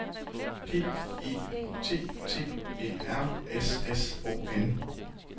P E T T E R S S O N